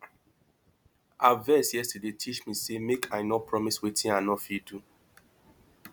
her vex yesterday teach me sey make i no promise wetin i no fit do